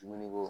Dumuni ko